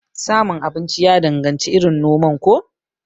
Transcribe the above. Samun abinci ya danganci irin noman ko?